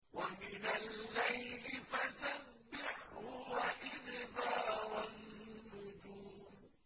وَمِنَ اللَّيْلِ فَسَبِّحْهُ وَإِدْبَارَ النُّجُومِ